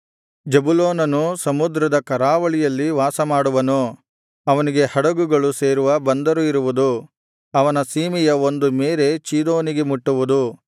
ಜೆಬುಲೂನನು ಸಮುದ್ರದ ಕರಾವಳಿಯಲ್ಲಿ ವಾಸಮಾಡುವನು ಅವನಿಗೆ ಹಡಗುಗಳು ಸೇರುವ ಬಂದರು ಇರುವುದು ಅವನ ಸೀಮೆಯ ಒಂದು ಮೇರೆ ಚೀದೋನಿಗೆ ಮುಟ್ಟುವುದು